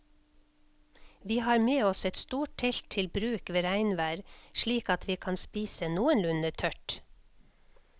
Vi har med oss et stort telt til bruk ved regnvær slik at vi kan spise noenlunde tørt.